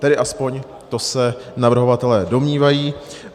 Tedy alespoň to se navrhovatelé domnívají.